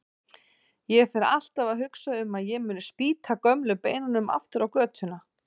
Ég fer alltaf að hugsa um að ég muni spýta gömlu beinunum aftur á götuna.